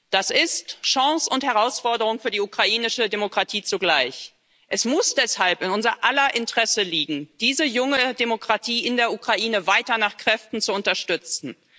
Das ist Chance und Herausforderung für die ukrainische Demokratie zugleich. Es muss deshalb in unser aller Interesse liegen, diese junge Demokratie in der Ukraine weiter nach Kräften zu unterstützen.